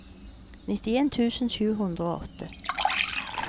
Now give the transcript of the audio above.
nittien tusen sju hundre og åtte